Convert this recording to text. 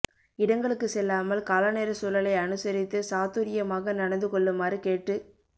இடங்களுக்கு செல்லாமல் காலநேர சூழலை அனுசரித்து சாதுர் யமாக நடந்து கொள்ளுமாறு கேட்டுக்